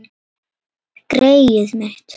Greyið mitt